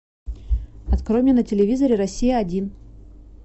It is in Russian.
открой мне на телевизоре россия один